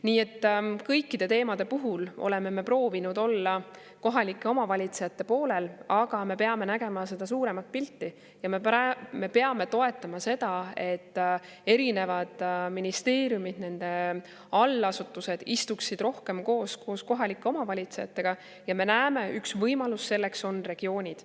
Nii et kõikide teemade puhul oleme me proovinud olla kohalike omavalitsuste poolel, aga me peame nägema suuremat pilti ja me peame toetama seda, et erinevad ministeeriumid ja nende allasutused istuksid rohkem koos kohalike omavalitsuste, ja me näeme, et üks võimalus selleks on regioonid.